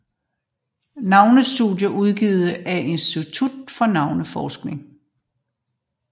Navnestudier udgivet af Institut for Navneforskning